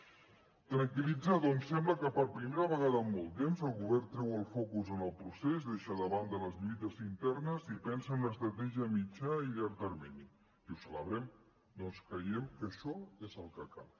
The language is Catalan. ens tranquil·litza ja que sembla que per primera vegada en molt temps el govern treu el focus del procés deixa de banda les lluites internes i pensa en una estratègia a mitjà i llarg termini i ho celebrem perquè creiem que això és el que cal